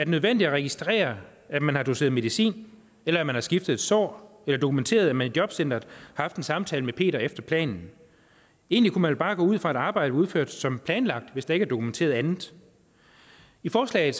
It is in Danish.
nødvendigt at registrere at man har doseret medicin eller at man har skiftet et sår eller dokumenteret at man i jobcenteret har haft en samtale med peter efter planen egentlig kunne man vel bare gå ud fra at arbejdet er udført som planlagt hvis der ikke er dokumenteret andet i forslaget